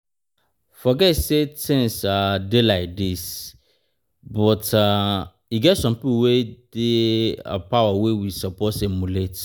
Forget say things um dey like dis but um e get some people wey dey um power we suppose dey emulate